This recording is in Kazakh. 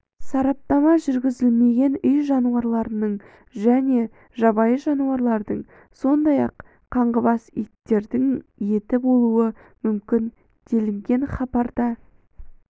сараптама жүргізілмеген үй жануарларының және жабайы жануарлардың сондай-ақ қаңғыбас иттердің еті болуы мүмкін делінген хабарда